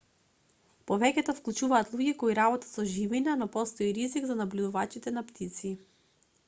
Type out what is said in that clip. повеќето вклучуваат луѓе кои работат со живина но постои и ризик за набљудувачите на птици